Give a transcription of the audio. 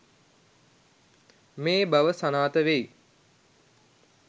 මේ බව සනාථ වෙයි.